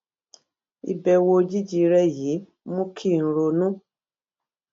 ìbèwò òjijì rè yìí mú kí n ronú